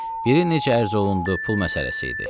Biri necə ərz olundu, pul məsələsi idi.